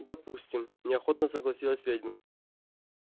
допустим неохотно согласилась ведьма